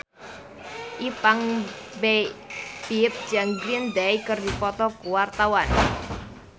Ipank BIP jeung Green Day keur dipoto ku wartawan